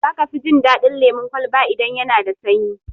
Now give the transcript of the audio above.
Za ka fi jin daɗin lemun kwalba idan yana da sanyi.